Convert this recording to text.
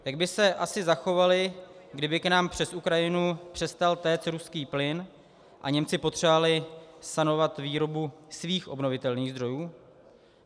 Jak by se asi zachovali, kdyby k nám přes Ukrajinu přestal téct ruský plyn a Němci potřebovali sanovat výrobu svých obnovitelných zdrojů?